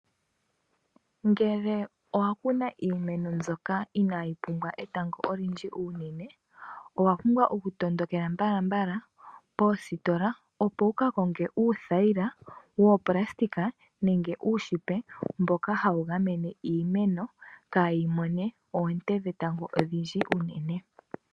Ngele owa kuna iimeno mbyoka inayi pumbwa etango olindji unene owa pumbwa okutondokela mbalambala poositola opo wu kakonge uuthayila woonayilona nenge uushipa mboka hawu gamene iimeno kayi mone oonte dhetango odhindji unene.